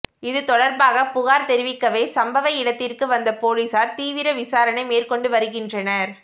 இது தொடர்பாக புகார் தெரிவிக்கவே சம்பவ இடத்திற்கு வந்த போலீசார் தீவிர விசாரணை மேற்கொண்டு வருகின்றனர்